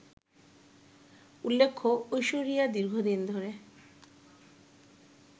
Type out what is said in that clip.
উল্লেখ্য, ঐশ্বরিয়া দীর্ঘদিন ধরে